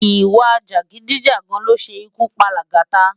Iwá-jágidijá ló ṣé kú pá Lagata